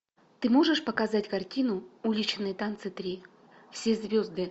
ты можешь показать картину уличные танцы три все звезды